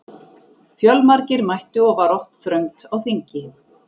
Fjölmargir mættu og var oft þröngt á þingi.